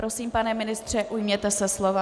Prosím, pane ministře, ujměte se slova.